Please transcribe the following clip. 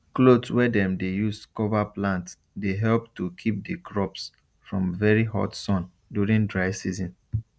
cloth wey dem dey use cover plant dey help to keep the crops from very hot sun during dry season